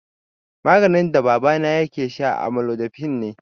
Maganin da babana yake sha amlodipine ne.